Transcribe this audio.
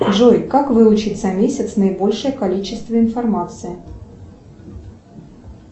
джой как выучить за месяц наибольшее количество информации